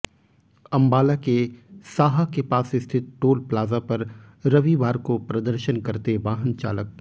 अम्बाला के साहा के पास स्थित टोल प्लाजा पर रविवार को प्रदर्शन करते वाहन चालक